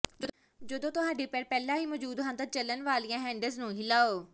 ਜਦੋਂ ਤੁਹਾਡੇ ਪੈਰ ਪਹਿਲਾਂ ਹੀ ਮੌਜੂਦ ਹਨ ਤਾਂ ਚੱਲਣ ਵਾਲੀਆਂ ਹੈਂਡਲਜ਼ ਨੂੰ ਹਿਲਾਓ